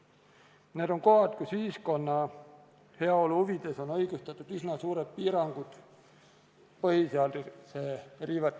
Need on kohad, kus ühiskonna heaolu huvides on põhiseaduse riivena õigustatud üsna suured piirangud.